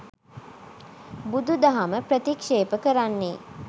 බුදුදහම ප්‍රතික්‍ෂේප කරන්නේ